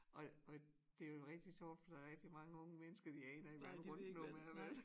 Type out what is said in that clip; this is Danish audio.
Og og det jo rigtig sjovt fordi der er rigtig mange unge mennesker de aner ikke hvad en rundtenom er vel